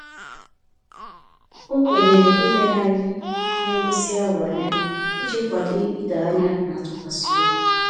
O kwenyere ileghari ihe ngosi ahụ anya, iji kwado ịdọ anya na ntụkwasịobi